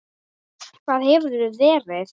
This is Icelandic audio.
Hvar hefurðu verið?